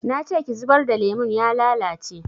Nace ki zubar da lemon ya lalace